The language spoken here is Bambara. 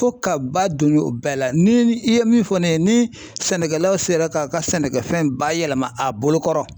Fo ka ba don ɲo o bɛɛ la. Ni i ye min fɔ ne ye ni sɛnɛkɛlaw sera k'a ka sɛnɛkɛfɛn bayɛlɛma a bolo kɔrɔ